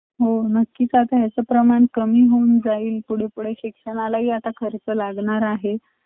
माझ्या life मधे मी कधी minus two degree एवढं temperature अं experience नव्हत केलं म्हणून ते खूप जास्ती थंडी वाट वाटत होती मला तिथं